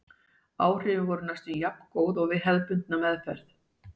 áhrifin voru oft næstum jafngóð og við hefðbundna meðferð